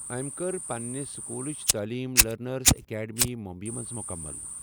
أمۍ کٔر پنِنہِ سکوٗلٕچ تٔعلیٖم لرنرز اکیڈمی، ممبئی منٛز مُکمل۔